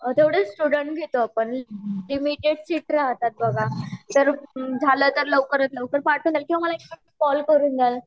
तेवढेच स्टूडेंट्स घेतो आपण त्या मध्ये शिफ्ट राहतात बघा जर झाल तर लवकरात लवकर पाठवा किव्हा माला एक कॉल करूँ द्या